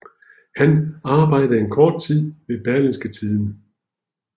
Han arbejdede en kort tid ved Berlingske Tidende